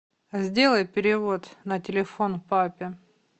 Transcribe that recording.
сделай перевод на телефон папе